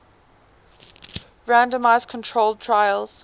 randomized controlled trials